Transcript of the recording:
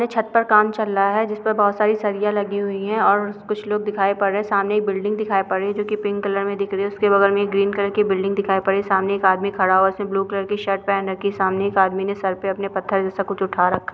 ये छत पर कम चल रहा है जिस पर बहुत सारी सरिया लगी हुई हैं और उ कुछ लोग दिखाई पड़ रहे हैं। सामने एक बिल्डिंग दिखाई पड़ रही है जो की पिंक कलर में दिख रही है। उसके बगल में एक ग्रीन कलर की बिल्डिंग दिखाई पड़ रही है। सामने एक आदमी खड़ा हुआ है। उसने ब्लू कलर की शर्ट पहन रखी है। सामने एक आदमी ने सर पे अपने पत्थर जैसा कुछ उठा रखा है।